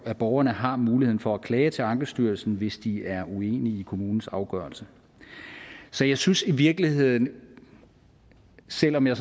at borgerne har muligheden for at klage til ankestyrelsen hvis de er uenige i kommunens afgørelse så jeg synes i virkeligheden at selv om jeg